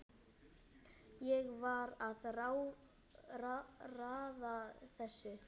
Ég var að raða þessu